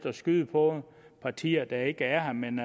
at skyde på partier der ikke er her men